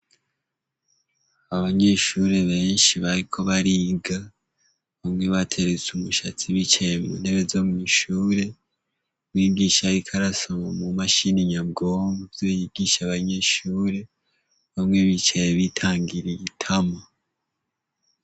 Abanyeshuri benshi bariko bariga bamwe bateretse umushatsi b'icaye muntebe zo mw'ishure bigishahoikarasoma mu mashini nyabwombwe vyoyigisha abanyeshure bamwe bicaye bitangira igitama.